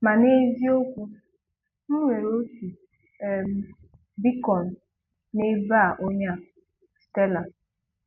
Ma n’eziokwu, M nwere otú um Bíchọn n’ebe a onye a, Stélà.